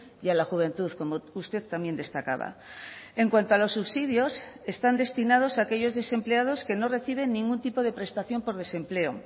y a la juventud como usted también destacaba en cuanto a los subsidios están destinados a aquellos desempleados que no reciben ningún tipo de prestación por desempleo